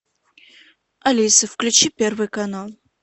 алиса включи первый канал